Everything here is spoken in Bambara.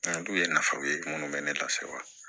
An dun ye nafaw ye minnu bɛ ne lase wa